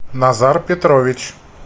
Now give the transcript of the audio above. назар петрович